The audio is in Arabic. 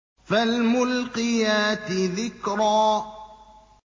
فَالْمُلْقِيَاتِ ذِكْرًا